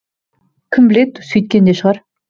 кім біледі сөйткен де шығар